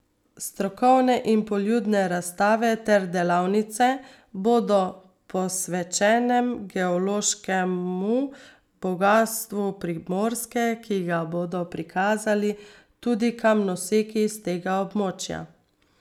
Strokovne in poljudne razstave ter delavnice bodo posvečenem geološkemu bogastvu Primorske, ki ga bodo prikazali tudi kamnoseki s tega območja.